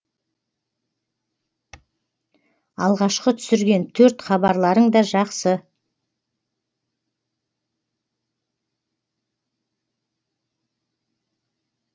алғашқы түсірген төрт хабарларың да жақсы